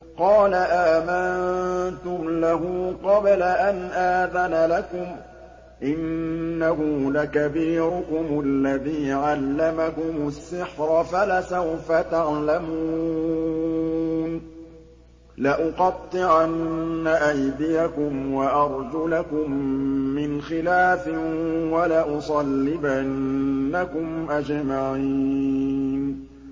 قَالَ آمَنتُمْ لَهُ قَبْلَ أَنْ آذَنَ لَكُمْ ۖ إِنَّهُ لَكَبِيرُكُمُ الَّذِي عَلَّمَكُمُ السِّحْرَ فَلَسَوْفَ تَعْلَمُونَ ۚ لَأُقَطِّعَنَّ أَيْدِيَكُمْ وَأَرْجُلَكُم مِّنْ خِلَافٍ وَلَأُصَلِّبَنَّكُمْ أَجْمَعِينَ